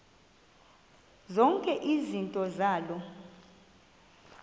zonke izinto zaloo